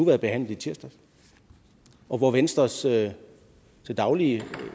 været behandlet i tirsdags og hvor venstres til til daglig